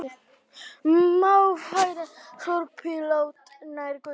Má færa sorpílát nær götu